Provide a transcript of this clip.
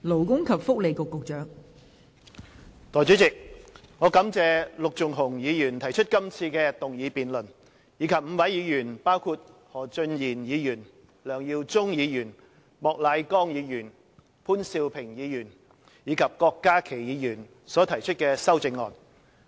代理主席，我感謝陸頌雄議員提出今次的議案辯論，以及5位議員，包括何俊賢議員、梁耀忠議員、莫乃光議員、潘兆平議員及郭家麒議員提出修正案。